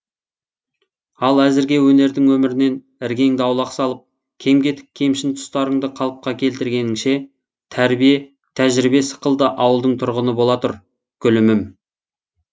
ал әзірге өнердің өмірінен іргеңді аулақ салып кем кетік кемшін тұстарыңды қалыпқа келтіргенінше тәрбие тәжірибе сықылды ауылдың тұрғыны бола тұр гүлімім